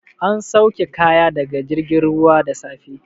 An sauke kaya daga jirgin ruwa da safe.